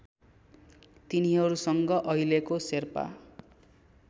तिनीहरूसँग अहिलेको शेर्पा